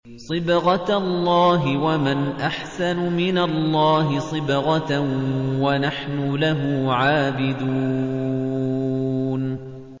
صِبْغَةَ اللَّهِ ۖ وَمَنْ أَحْسَنُ مِنَ اللَّهِ صِبْغَةً ۖ وَنَحْنُ لَهُ عَابِدُونَ